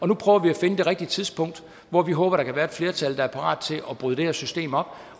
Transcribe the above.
nu prøver vi at finde det rigtige tidspunkt hvor vi håber der kan være et flertal der er parat til at bryde det her system op